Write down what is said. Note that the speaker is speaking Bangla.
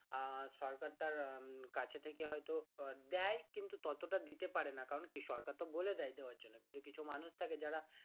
আহ সরকার তার কাছে থেকে হয়তো দেয় কিন্তু ততটা দিতে পারে না কারণ কি সরকার তো বলে দেয় দেওয়ার জন্য কিন্তু কিছু মানুষ থাকে যারা